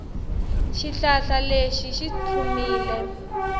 xihlahla lexi xi tlhumile